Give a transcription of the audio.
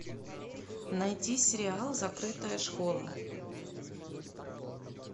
найти сериал закрытая школа